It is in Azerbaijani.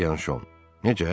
Biyanşon: “Necə?